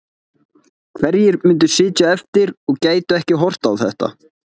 Hverjir myndu sitja eftir og gætu ekki horft á þetta?